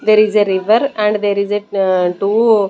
There is a river and there is a two --